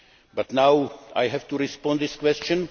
But now I have to respond to this question.